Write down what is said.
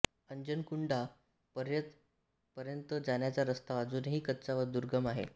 अंजनकुंडा पर्यंत जाण्याचा रस्ता अजूनही कच्चा व दुर्गम आहे